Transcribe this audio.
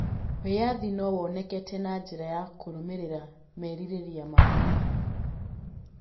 Wĩyathi no woneke na njĩra ya kũrũmĩrĩra merirĩria maku.